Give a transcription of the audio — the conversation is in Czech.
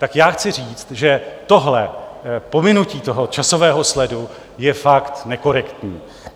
Tak já chci říct, že tohle pominutí toho časového sledu je fakt nekorektní.